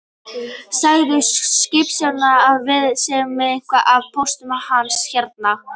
Segðu skipstjóranum að við séum með eitthvað af póstinum hans hérna